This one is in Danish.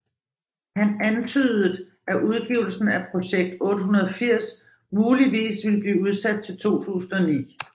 Han antydede at udgivelsen af Project 880 muligvis ville blive udsat til 2009